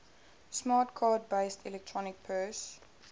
smart card based electronic purse